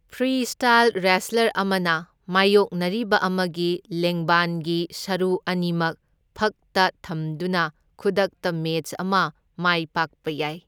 Freestyle wrestler ꯑꯃꯅ ꯃꯥꯢꯌꯣꯛꯅꯔꯤꯕ ꯑꯃꯒꯤ ꯂꯦꯡꯕꯥꯟꯒꯤ ꯁꯔꯨ ꯑꯅꯤꯃꯛ ꯐꯛꯇ ꯊꯝꯗꯨꯅ ꯈꯨꯗꯛꯇ ꯃꯦꯆ ꯑꯃ ꯃꯥꯏꯄꯥꯛꯄ ꯌꯥꯏ꯫